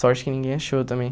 Sorte que ninguém achou também.